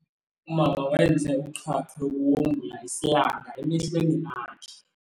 Umama wenze uqhaqho lokuwongula isilanga emehlweni akhe.